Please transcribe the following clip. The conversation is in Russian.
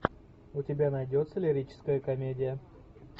у тебя найдется лирическая комедия